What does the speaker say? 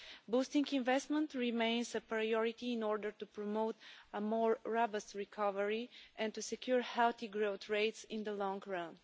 Boosting investment remains a priority in order to promote a more robust recovery and to secure healthy growth rates in the long run.